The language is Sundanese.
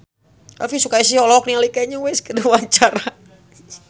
Elvi Sukaesih olohok ningali Kanye West keur diwawancara